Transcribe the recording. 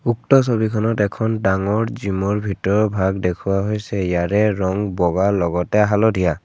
উক্ত ছবিখনত এখন ডাঙৰ জিমৰ ভিৰৰভাগ দেখুওৱা হৈছে ইয়াৰে ৰং বগা লগতে হালধীয়া।